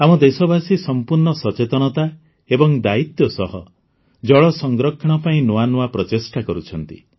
ଆମ ଦେଶବାସୀ ସମ୍ପୂର୍ଣ୍ଣ ସଚେତନତା ଏବଂ ଦାୟିତ୍ୱ ସହ ଜଳ ସଂରକ୍ଷଣ ପାଇଁ ନୂଆ ନୂଆ ପ୍ରଚେଷ୍ଟା କରୁଛନ୍ତି